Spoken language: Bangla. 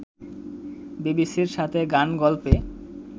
বিবিসি’র সাথে গান-গল্পে